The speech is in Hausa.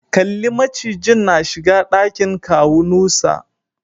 Kalli macijin na shiga dakin kawu Nusa.